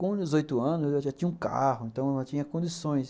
Com dezoitos anos, eu já tinha um carro, então eu não tinha condições.